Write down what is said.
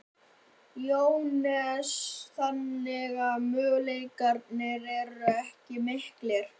Jóhannes: Þannig að möguleikarnir eru ekkert miklir?